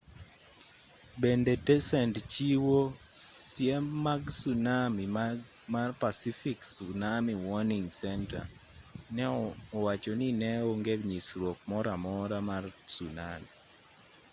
bende tesend chiwo siem mag tsunami mar pacific tsunami warning center ne owacho ni ne onge nyisruok moro amora mar tsunami